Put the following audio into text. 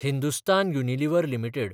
Hindustan Unilever limited